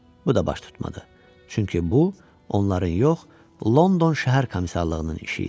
Bu da baş tutmadı, çünki bu, onların yox, London şəhər komissarlığının işi idi.